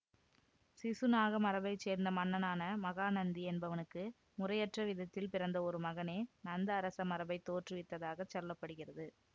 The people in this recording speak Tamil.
சிசுநாக மரபை சேர்ந்த மன்னனான மகாநந்தி என்பவனுக்கு முறையற்ற விதத்தில் பிறந்த ஒரு மகனே நந்த அரச மரபைத் தோற்றுவித்ததாகச் சொல்ல படுகிறது